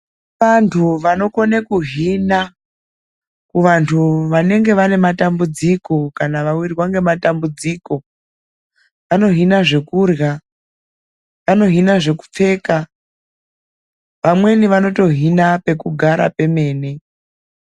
Kune vantu vanokone kuhina kuvantu vanenge vanematambudziko kana vawirwa ngematambudziko. Vanohina zvokurya, vanohina zvokupfeka, vamweni vanotohina pekugara pemene.